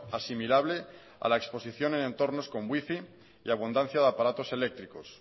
asimilable a la exposición en entornos con wifi y abundancia de aparatos eléctricos